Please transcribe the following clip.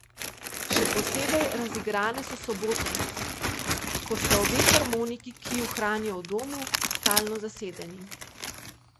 Še posebej razigrane so sobote, ko sta obe harmoniki, ki ju hranijo v domu, stalno zasedeni.